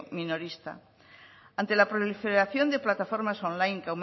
minorista ante la proliferación de plataformas online